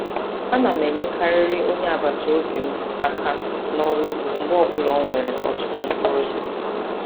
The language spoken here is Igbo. Ana m enyekarịrị onye agbataobi m aka n'ọrụ ụgbọ mgbe ọbụla o nwere ọtụtụ mkpụrụ osisi.